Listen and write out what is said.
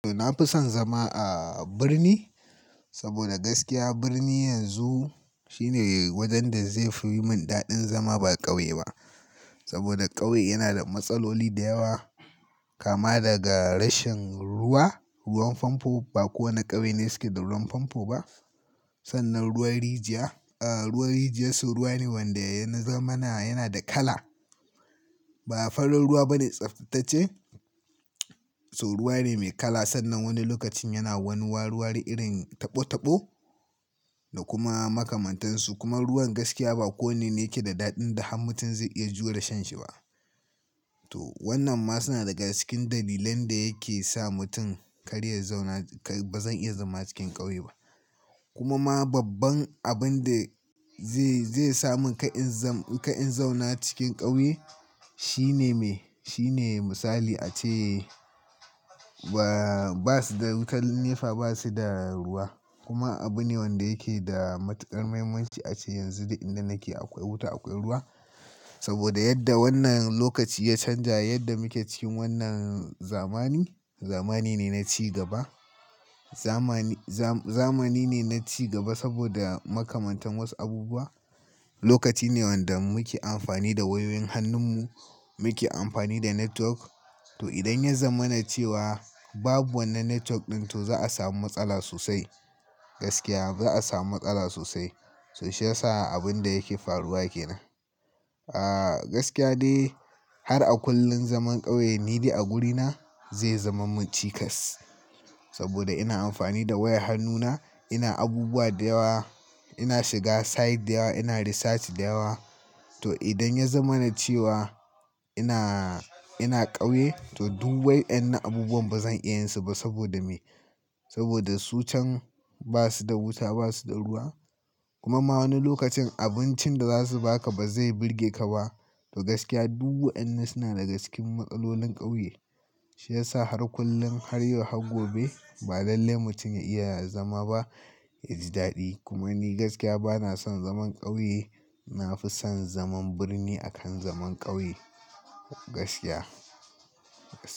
To, na fi son zama a birni saboda gaskiya birni yanzu, shine wajen da zai fi yi min daɗin zama ba ƙauye ba. Saboda ƙauye yana da matsaloli da yawa, kama daga rashin ruwa, ruwan famfo ba kowane ƙauye ne suke da ruwan famfo ba. Sannan ruwan rijiya, a ruwan rijiya su ruwa ne wanda ya na zamana yana da kala. Ba farar ruwa bane tsaftace. To ruwa ne mai kala sannan wani lokacin yana wani wari-wari irin taɓo- taɓo da kuma makamantan su. Kuma ruwan gaskiya ba ko wanne ne yake da daɗin da har mutum zai iya jure shan shi ba. To wannan ma suna daga cikin dalilan da yake sa mutum karya zauna. Ba zai iya zama cikin ƙauye ba. Kuma ma babban abin da zai zai sa mun kai'in zam, kai'in zauna cikin ƙauye shine me, shine misali ace, ba ba su da wutan nefa ba su da ruwa. Kuma abu ne wanda yake da matuƙar muhimmanci ace yanzu duk inda nake akwai wuta akwai ruwa. Saboda yadda wannan lokaci ya canja, yadda muke cikin wannan za mani, zamani ne na ci gaba. Zamani, za zamani ne na ci gaba saboda makamantan wasu abubuwa. Lokaci ne wanda muke amfani da wayoyin hannun mu, muke amfani da network. To idan ya zamana cewa babu wannan network ɗin to za a samu matsala sosai. Gaskiya za a samu matsala sosai. To shi ya sa abin da yake faruwa kenan. A gaskiya dai har a kullum zaman ƙauye ni dai a guri na zai zama mun cikas. Saboda ina amfani da wayar hannu na, ina abubuwa da yawa, ina shiga site da yawa, ina research da yawa. To idan ya zamana ce wa ina-ina ƙauye to duk wayen na abubuwan bazan iya yin su ba saboda me, saboda su can ba su da wuta ba su da ruwa. Kuma ma wani lokacin abincin da za su ba ka ba zai burge ka ba. To gaskiya duk wayen na suna daga cikin matsalolin ƙauye. Shi ya sa har kullum har yau har gobe ba lalle mutum ya iya zama ba, ya ji daɗi. Kuma ni gaskiya bana son zaman ƙauye. Na fi son zaman birni a kan zaman ƙauye. Gaskiya, gaskiya.